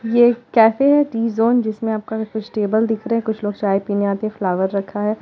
ये कैफे है। Tea zone जिसका आपके टेबल देख रहे हैं। कुछ लोग चाय पीने आते हैंफ्लावर रखा है।